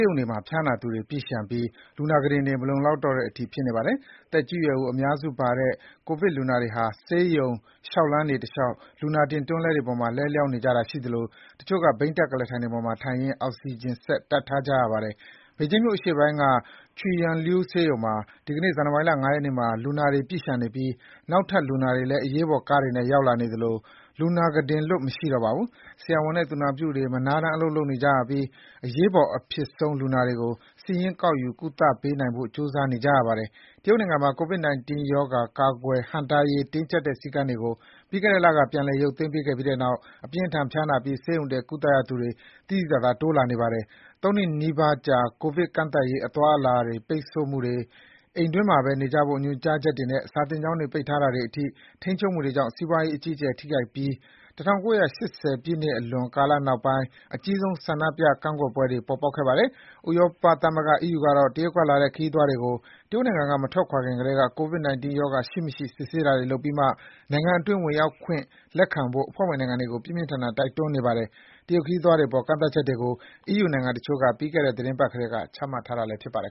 းရုံတွေမှာ ဖျားနာသူတွေ ပြည့်လျှံပြီး လူနာကုတင်တွေ မလုံလောက်တော့တဲ့အထိ ဖြစ်နေပါတယ်။ သက်ကြီးရွယ်အိုအများစုပါတဲ့ ကိုဗစ်လူနာတွေဟာ ဆေးရုံ လျှောက်လှမ်းတွေတလျှောက် လူနာတင်တွန်းလှည်းပေါ်မှာ လဲလျှောင်းနေကြရတာရှိသလို တချို့က ဘီးတပ်ကုလားထိုင်ပေါ်မှာထိုင်ရင်း အောက်စီဂျင်စက် တပ်ထားရပါတယ်။ ဘေဂျင်းမြို့အရှေ့ပိုင်းက Chuiyangliu ဆေးရုံမှာဆိုရင် ဒီကနေ့ ဇန်နဝါရီ ၅ ရက်နေ့မှာ လူနာတွေ ပြည့်လျှံနေတဲ့အတွက် အရေးပေါ်ကားတွေနဲ့ ရောက်လာနေတဲ့ လူနာတွေအတွက် ကုတင်လွတ် မရှိတော့ပါဘူး။ ဆရာဝန်နဲ့သူနာပြုတွေ မနားတမ်း အလုပ် လုပ်နေကြရပြီး အရေးပေါ်အဖြစ်ဆုံး လူနာတွေကို စာရင်းကောက်ယူ ကုသပေးနိုင်ဖို့ ကြိုးစားနေကြရပါတယ်။ တရုတ်နိုင်ငံမှာ COVID-19 ရောဂါ ကာကွယ်ဟန့်တားရေး တင်းကျပ်တဲ့စည်းကမ်းတွေကို ပြီးခဲ့တဲ့လက ပြန်လည်ရုပ်သိမ်းပေးခဲ့ပြီးတဲ့နောက် အပြင်းအထန်ဖျားနာပြီး ဆေးရုံတက် ကုသရသူတွေ သိသိသာသာ တိုးလာနေတာပါ။ ၃ နှစ်နီးပါးကြာ ကိုဗစ်ကန့်သတ်ရေး အသွားအလာပိတ်ဆို့မှုတွေ၊ အိမ်တွင်းမှာပဲနေဖို့ ညွန်ကြားချက်တွေနဲ့ စာသင်ကျောင်းတွေ ပိတ်ပစ်တာတွေအထိ ထိန်းချုပ်မှုတွေကြောင့် စီးပွားရေး အကြီးအကျယ် ထိခိုက်ပြီး ၁၉၈၀ ပြည့်လွန်ကာလနောက်ပိုင်းအကြီးဆုံး ကန့်ကွက်ဆန္ဒပြပွဲတွေ ပေါ်ပေါက်ခဲ့ပါတယ်။ ဥရောပသမဂ္ဂ အီးယူကတော့ တရုတ်ကလာတဲ့ ခရီးသွားတွေကို တရုတ်နိုင်ငံက မထွက်ခွာခင်ကတည်းက COVID 19 ရောဂါ ရှိမရှိ စစ်ဆေးတာတွေလုပ်ပြီးမှ နိုင်ငံတွင်း ဝင်ရောက်ခွင့် လက်ခံဖို့ အဖွဲ့ဝင်နိုင်ငံတွေကို ပြင်းပြင်းထန်ထန် တိုက်တွန်းနေပါတယ်။ တရုတ်ခရီးသွားတွေအပေါ် ကန့်သတ်ချက်တွေကို အီးယူနိုင်ငံတချို့က ပြီးခဲ့တဲ့ သီတင်းပတ်ကတည်းက ချမှတ် ထားတာလည်း ဖြစ်ပါတယ်